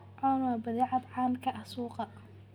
Corn waa badeecad caan ka ah suuqa.